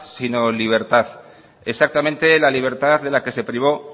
sino libertad exactamente la libertad de la que se privó